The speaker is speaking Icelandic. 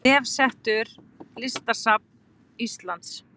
Vefsetur Listasafns Íslands